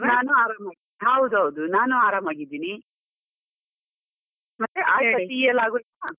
ನಾನು ಆರಾಮ, ಹೌದು ಹೌದು ನಾನು ಆರಾಮಾಗಿದ್ದೀನಿ, ಮತ್ತೆ ಟೀ ಎಲ್ಲ ಆಗೋಯ್ತಾ.